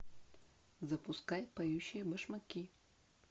запускай поющие башмаки